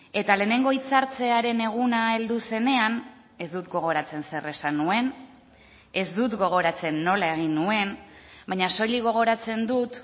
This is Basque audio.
eta lehenengo hitz hartzearen eguna heldu zenean ez dut gogoratzen zer esan nuen ez dut gogoratzen nola egin nuen baina soilik gogoratzen dut